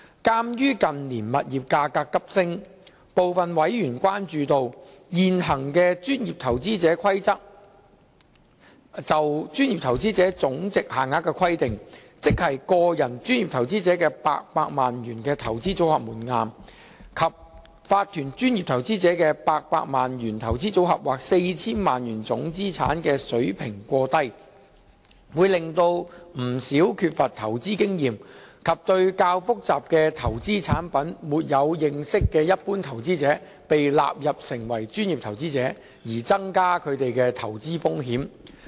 鑒於近年物業價格急升，部分委員關注到，現行《規則》下就專業投資者總值限額的規定，即個人專業投資者的800萬元投資組合門檻，以及法團專業投資者的800萬元投資組合或 4,000 萬元總資產水平過低，會令不少缺乏投資經驗及對較複雜的投資產品沒有認識的一般投資者被納入成為專業投資者，增加他們的投資風險。